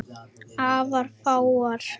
Afar fáar.